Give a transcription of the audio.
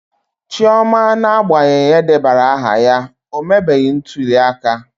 Chioma n'agbanyeghị edebanyere aha ya, o mebeghị ntuli aka.